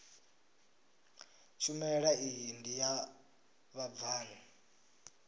tshumelo iyi ndi ya vhabvann